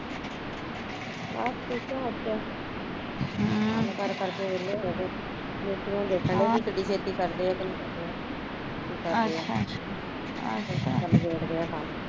ਬਸ ਠੀਕ ਆ ਹਮ ਕੰਮ ਕਰ ਕਰ ਕੇ ਵੇਹਲੇ ਹੋਗੇ ਮਿਸਤਰੀਆਂ ਨੂੰ ਦੇਖਣ ਡਏ ਵੀ ਕਿੰਨੀ ਛੇਤੀ ਕਰਦੇ ਐ ਯਾ ਨਹੀਂ ਕੀ ਕਰਦੇ ਆ